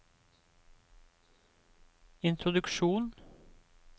introduksjon